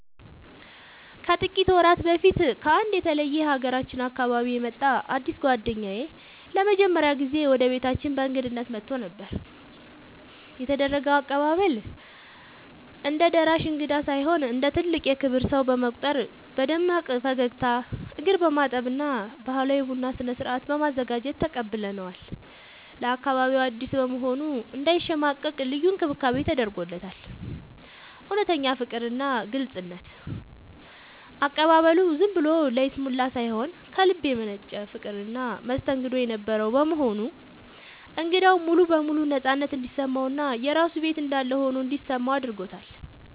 ከጥቂት ወራት በፊት ከአንድ የተለየ የሀገራችን አካባቢ የመጣ አዲስ ጓደኛዬ ለመጀመሪያ ጊዜ ወደ ቤታችን በእንግድነት መጥቶ ነበር። የተደረገው አቀባበል፦ እንደ ደራሽ እንግዳ ሳይሆን እንደ ትልቅ የክብር ሰው በመቁጠር በደማቅ ፈገግታ፣ እግር በማጠብ እና ባህላዊ የቡና ስነ-ስርዓት በማዘጋጀት ተቀብለነዋል። ለአካባቢው አዲስ በመሆኑ እንዳይሸማቀቅ ልዩ እንክብካቤ ተደርጎለታል። እውነተኛ ፍቅርና ግልጽነት፦ አቀባበሉ ዝም ብሎ ለይስሙላ ሳይሆን ከልብ የመነጨ ፍቅርና መስተንግዶ የነበረው በመሆኑ እንግዳው ሙሉ በሙሉ ነፃነት እንዲሰማውና የራሱ ቤት እንዳለ ሆኖ እንዲሰማው አድርጎታል።